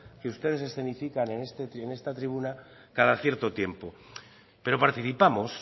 que ustedes escenifican en esta tribuna cada cierto tiempo pero participamos